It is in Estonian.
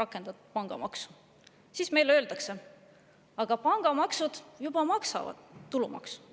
rakendatud pangamaksu?", öeldakse meile, et pangad juba maksavad tulumaksu.